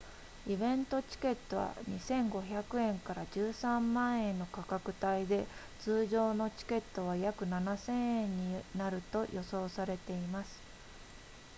イベントチケットは 2,500 円 ～13 万円の価格帯で通常のチケットは約 7,000 円になると予想されています